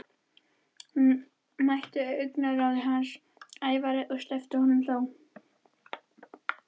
Hún mætti augnaráði hans, ævareið, en sleppti honum þó.